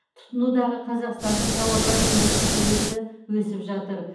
тұтынудағы қазақстандық тауарлар өндірісінің үлесі өсіп жатыр